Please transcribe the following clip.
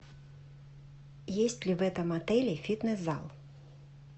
есть ли в этом отеле фитнес зал